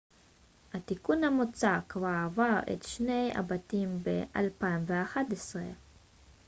התיקון המוצע כבר עבר את שני הבתים ב-2011